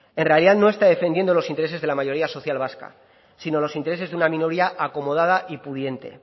en realidad no está defendiendo los intereses de la mayoría social vasca sino los intereses de una minoría acomodada y pudiente